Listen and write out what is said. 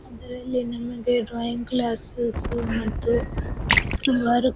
ಇದರಲ್ಲಿ ನಮಗೆ drawing classes ಮತ್ತು ವರ್ಕ್ --